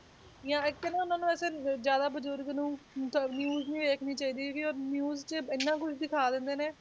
ਜਾਂ ਇੱਕ ਨਾ ਉਹਨਾਂ ਨੂੰ ਇਹ ਫਿਰ ਜ਼ਿਆਦਾ ਬਜ਼ੁਰਗ ਨੂੰ ਤਾਂ news ਨੀ ਵੇਖਣੀ ਚਾਹੀਦੀ ਕਿ ਉਹ news 'ਚ ਇੰਨਾ ਕੁਛ ਦਿਖਾ ਦਿੰਦੇ ਨੇ